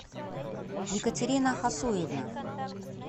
екатерина хасуевна